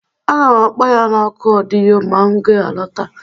Aga m akpọ ya na oku ọdịyo ma m ga-alọta